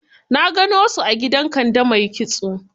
Na gano su a gidan Kande mai kitso.